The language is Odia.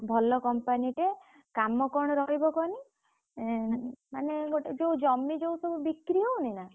ଭଲ company ଟେ କାମ କଣ ରହିବ କହନି? ଏଁ ମାନେ ଗୋଟେ ଯୋଉ ଜମି ଯୋଉ ସବୁ ବିକ୍ରି ହଉନି ନା?